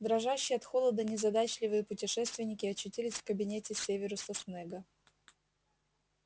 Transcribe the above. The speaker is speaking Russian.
дрожащие от холода незадачливые путешественники очутились в кабинете северуса снегга